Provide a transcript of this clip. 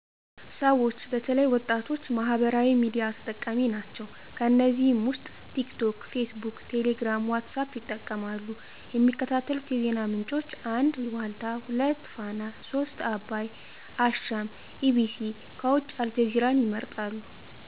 ስዎች በተለይ ወጣቶች ማህበራዊ ሚዲያ ተጠቃሚ ናቸው ከነዚህም ዉስጥ ቲክቶክ ፌስቡክ ቴሌግራም ዋትሳአፕ ይጠቀማሉ የሚከታተሉት የዜና ምንጮች 1. ዋልታ 2. ፋና 3. አባይ" አሻም" ኢቢሲ ከዉጭ አልጀዚራን ይመርጣሉ